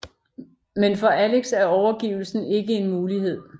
Men for Alex er overgivelsen ikke en mulighed